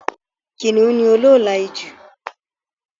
Kìnìún ní olóòolà ijù